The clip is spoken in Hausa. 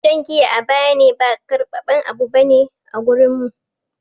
Shan giya a bayane ba karbaben abu bane a wurin mu.